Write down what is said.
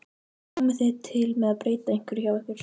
Komið þið til með að breyta einhverju hjá ykkur?